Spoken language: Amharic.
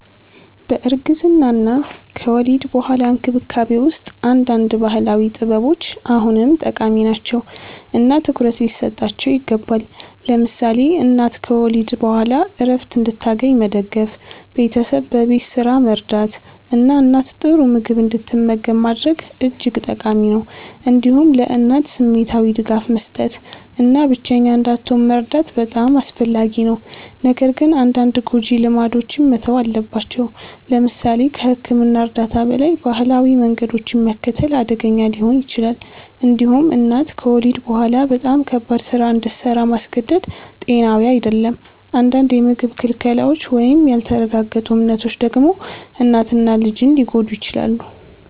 በእርግዝና እና ከወሊድ በኋላ እንክብካቤ ውስጥ አንዳንድ ባህላዊ ጥበቦች አሁንም ጠቃሚ ናቸው እና ትኩረት ሊሰጣቸው ይገባል። ለምሳሌ እናት ከወሊድ በኋላ ዕረፍት እንድታገኝ መደገፍ፣ ቤተሰብ በቤት ስራ መርዳት እና እናት ጥሩ ምግብ እንድትመገብ ማድረግ እጅግ ጠቃሚ ነው። እንዲሁም ለእናት ስሜታዊ ድጋፍ መስጠት እና ብቸኛ እንዳትሆን መርዳት በጣም አስፈላጊ ነው። ነገር ግን አንዳንድ ጎጂ ልማዶች መተው አለባቸው። ለምሳሌ ከሕክምና እርዳታ በላይ ባህላዊ መንገዶችን መከተል አደገኛ ሊሆን ይችላል። እንዲሁም እናት ከወሊድ በኋላ በጣም ከባድ ስራ እንድሰራ ማስገደድ ጤናዊ አይደለም። አንዳንድ የምግብ ክልከላዎች ወይም ያልተረጋገጡ እምነቶች ደግሞ እናትን እና ልጅን ሊጎዱ ይችላሉ።